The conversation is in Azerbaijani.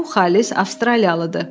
Bu xalis avstraliyalıdır.